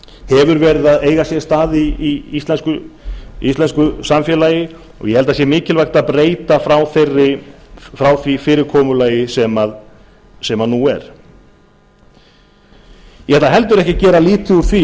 hefur verið að eiga sér stað í íslensku samfélagi og ég held að að sé mikilvægt að breyta frá því fyrirkomulagi sem nú er eg ætla heldur ekki að gera lítið úr